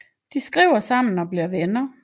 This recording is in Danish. De skriver sammen og bliver venner